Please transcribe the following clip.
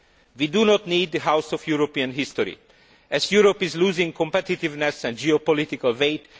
We do not need the House of European History, as Europe is losing competitiveness and geopolitical weight.